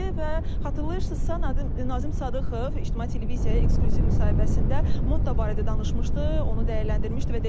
Və xatırlayırsınızsa, Nazim Sadıxov İctimai Televiziyaya eksklüziv müsahibəsində Motto barədə danışmışdı.